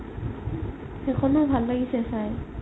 সেইখনও ভাল লাগিছে চাই